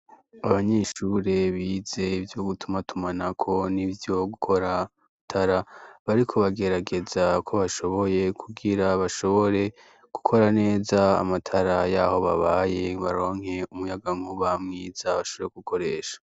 Abanyeshure bize ivyo gutumatumanako n'ivyo gukora amatara bariko bagerageza uko bashoboye kugira bashobore gukora neza amatara y'aho babaye baronke umuyagankuba mwiza bashobore gukoresha.